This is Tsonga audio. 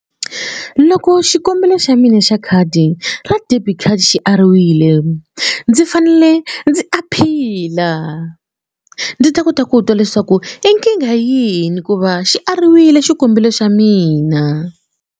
Loko xikombelo xa mina xa khadi ra debit card xi ariwile ndzi fanele ndzi aphila ndzi ta kota ku twa leswaku i nkingha yini hikuva xi ariwile xikombelo xa mina.